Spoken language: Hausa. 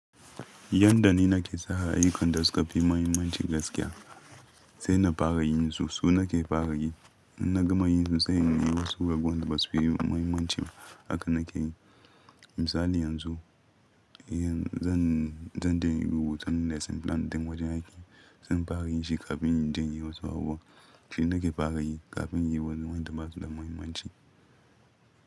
Yadda ni nake sa aiyukan da suka fi mahimmanci gaskiya, sai na fara yin su, su nake fara yi. In na gama yin su sai in yi wasu ragowan da ba su da mahimmanci. Haka nake yi. Misali yanzu, zan, zan dai yi rubutu na lesson plan ɗin wajen aiki, zan fara yin shi kafin in dai yi wasu abubuwa. Shi nake fara yi kafin in yi wasu wanda ba su da mahimmanci.